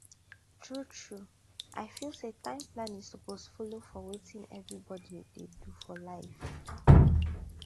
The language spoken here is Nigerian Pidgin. truetrue i feel say time planning suppose follow for wetin everybody dey do for life